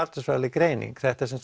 greining þetta er